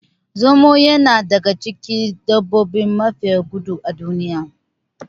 Zomo yana daga cikin dabbobi mafiya gudu a duniya